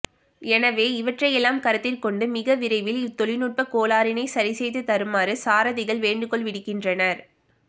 எனவே இவற்றை எல்லாம் கருத்திற்கொண்டு மிக விரைவில் இவ் தொழிநுட்ப்பக்கோளாறினை சரிசெய்துதருமாறு சாரதிகள் வேண்டுகோள் விடுக்கின்றனர்